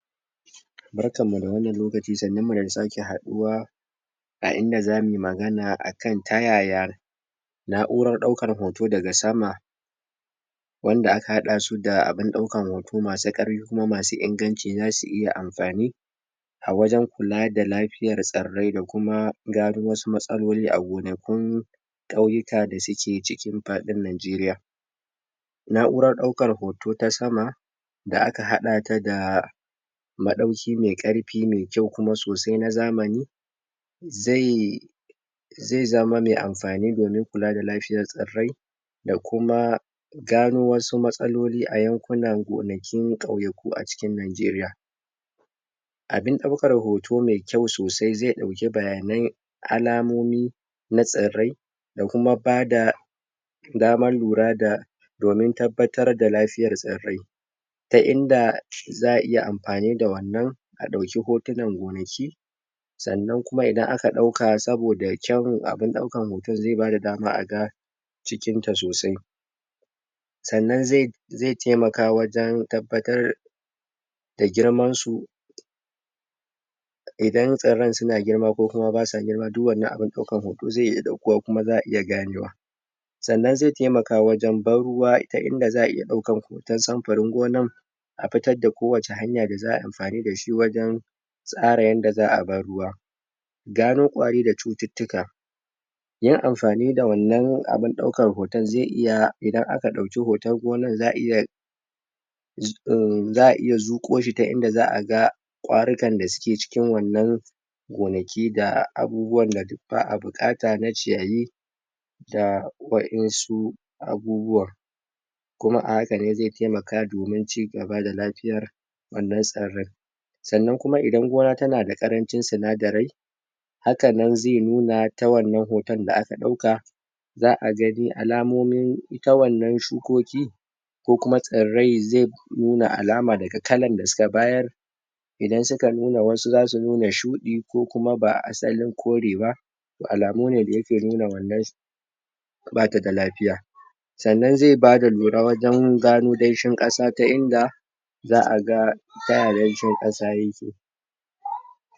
Barkan mu da wannan lokaci sannun mu da sake haduwa a inda zamuyi magana a kan yaya na'urar daukan hoto daga sama wanda aka hada su da abun daukan hoto masu karfi kuma masu inganci zasu iya amfani a wajen kula da lafiyar tsarrai da kuma gano wasu matsaloli a gonakun kauyuka da suke cikin faɗin nijeriya na'urar daukan hoto ta sama da aka haɗa ta da ma dauki mai ƙyau kuma mai ƙarfi na zamani zai zai zama mai amfani domin ƙula da lafiyar tsarrai da kuma da kuma gano wasu matsaloli a yankunan gonakin ƙyayaku a cikin nijeriya abin ɗaukar hoto mai kyau sosai zai dauki bayanai alamomi na tsarrai kuma bada daman lura da domin tabbatar da lafiyar tsarrai ta inda za'a iya amfani da wannan a dauke hotunan gonaki sannan kuma idan aka dauka saboda ƙyan abun daukan hoton zai bada dama a ga cikin ta sosai sannan zai taimaka wajen tabbatar da girman su idan tsarran suna girma ko kuma basa girma duk wannan abun daukan hoto zai iya daukuwa kuma za'a iya ganewa sanna zai taimaka wajen ban ruwa ta idan za'a iya daukan hoton samfarin gonan fitar da ko wace hanya da za'ayi amfani dashi wajen tsara yanda za'ayi a ban ruwa gano ƙwari da cututtuka yin amfani da wannan abun daukan hoto zai iya idan aka dauki hoton gonan za'a iya za'a iya zuko shi ta inda za'a ga ƙwari kan da suke cikin wannan gona ki da abubuwan da ba'a buƙata na ciyayi da wa'ensu abubuwa kuma ahaka ne zai taimaka domin cigaba da lafiyar wannan tsarrai sannan kuma idan gona tana da ƙarancin tsinadarai hakan nan zai nuna ta wajen wannan hoton da aka dauka za'a gani alamomin ita wannan shukoƙi ko kuma tsarrai zai alama daga ƙalar da suka bayar idan suka nuna wasu zasu nuna shuɗi ko kuma ba asalin ƙore ba alamu ne da yake nuna wannan bata da lafiya sannan zai badalura wajen gano ɗanshin kasa ta inda za'a ga tay ɗanshin kasa yake